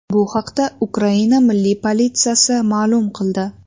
Bu haqda Ukraina milliy politsiyasi ma’lum qildi .